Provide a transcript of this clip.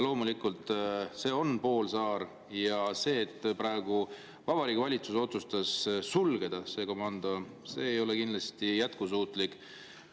Loomulikult, see on poolsaar ja see, et praegu Vabariigi Valitsus otsustas selle komando sulgeda, ei ole kindlasti jätkusuutlik.